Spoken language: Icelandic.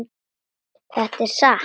Þetta er satt!